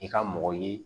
I ka mɔgɔ ye